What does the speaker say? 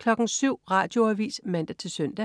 07.00 Radioavis (man-søn) 07.05